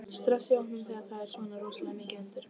Stress í hópnum þegar það er svona rosalega mikið undir?